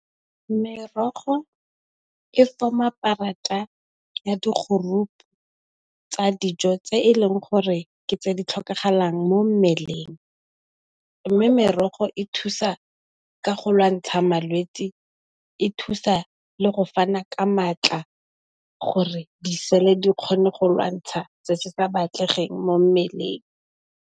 Merogo e form-a karata ya di group tsa dijo tse e leng gore ke tse di tlhokagalang mo mmeleng, mme merogo e thusa ka go lwantsha malwetsi, e thusa le go fana ka matla gore di sele di kgone go lwantsha se sa batlegeng mo mmeleng.